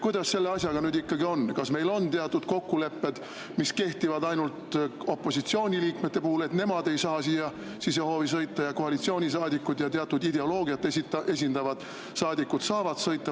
Kuidas selle asjaga ikkagi on, kas meil on teatud kokkulepped, mis kehtivad ainult opositsiooni liikmete kohta, et nemad ei saa sisehoovi sõita, aga koalitsioonisaadikud ja teatud ideoloogiat esindavad saadikud saavad sõita?